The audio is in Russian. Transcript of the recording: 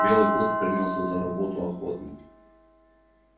белый клык принялся за работу охотно